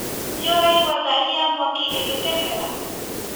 Nĩũraigua ngari ya mwaki ĩgĩtengera?